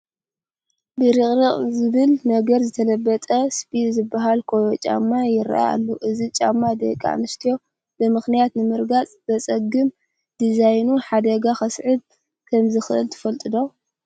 ብርቕሪቕ ዝብል ነገር ዝተለበጠ ስፒል ዝበሃል ኮዮ ጫማ ይርአ ኣሎ፡፡ እዚ ጫማ ደቂ ኣንስትዮ ብምኽንያት ንምርጋፅ ዘፅግም ዲዛይኑ ሓደጋ ከስዕብ ከምዝኽእል ትፈልጡ ዶ?